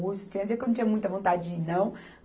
Tinha um dia que eu não tinha muita vontade de ir, não.